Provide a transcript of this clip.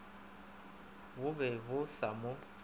bo be bo sa mo